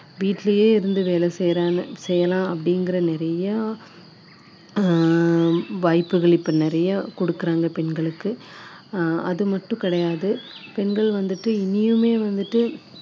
வீட்டுலேயே இருந்து வேலை செய்யுறாங்க செய்யலாம் அப்படிங்கிற நிறையா ஆஹ் வாய்ப்புகள் இப்போ நிறையா கொடுக்குறாங்க பெண்களுக்கு ஆஹ் அது மட்டும் கிடையாது பெண்கள் வந்துட்டு இன்னியுமே வந்துட்டு